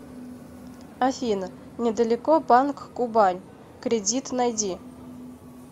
афина недалеко банк кубань кредит найди